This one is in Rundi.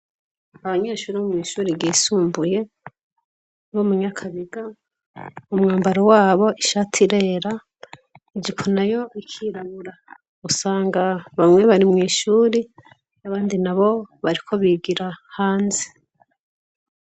Abanyeshuri bou mw'ishuri gisumbuye bo munyakabiga umwambaro wabo ishati rera ijikuna yo bikirabura gusanga bamwe bari mw'ishuri y'abandi na bo bariko bigira hanze.